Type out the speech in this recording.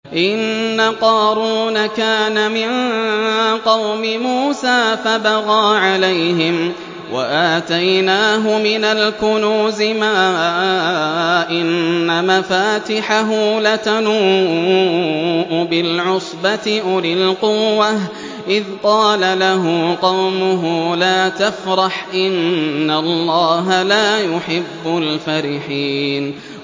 ۞ إِنَّ قَارُونَ كَانَ مِن قَوْمِ مُوسَىٰ فَبَغَىٰ عَلَيْهِمْ ۖ وَآتَيْنَاهُ مِنَ الْكُنُوزِ مَا إِنَّ مَفَاتِحَهُ لَتَنُوءُ بِالْعُصْبَةِ أُولِي الْقُوَّةِ إِذْ قَالَ لَهُ قَوْمُهُ لَا تَفْرَحْ ۖ إِنَّ اللَّهَ لَا يُحِبُّ الْفَرِحِينَ